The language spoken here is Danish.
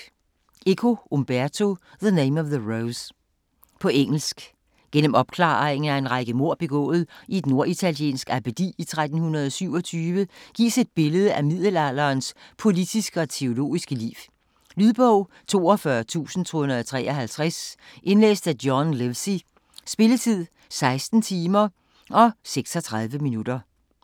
Eco, Umberto: The name of the rose På engelsk. Gennem opklaringen af en række mord begået i et norditaliensk abbedi i 1327 gives et billede af middelalderens politiske og teologiske liv. Lydbog 42253 Indlæst af John Livesey. Spilletid: 16 timer, 36 minutter.